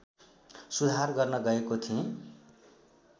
सुधार गर्न गएको थिएँ